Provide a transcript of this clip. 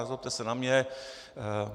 Nezlobte se na mě.